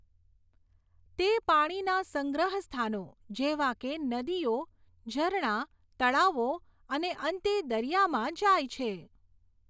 તે પાણીના સંગ્રહ સ્થાનો જેવા કે નદીઓ, ઝરણા, તળાવો, અને અંતે દરિયામાં જાય છે.